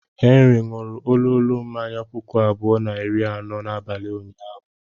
Henry ṅụrụ ololo mmanya puku abụọ na iri anọ n'abalị ụnyaahụ.